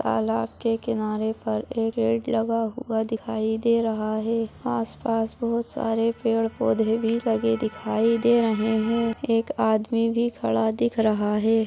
तालाब के किनारे पर एक लगा हुआ दिखाई दे रहा है आस पास बहुत सारे पेड़ पौधे भी लगे दिखाई दे रहे हैं एक आदमी भी खड़ा दिख रहा है।